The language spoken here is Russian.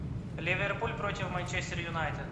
ливерпуль против манчестер юнайтед